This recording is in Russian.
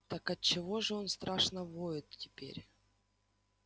так отчего же он страшно воет теперь